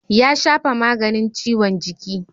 Ya shafa maganin ciwon jiki.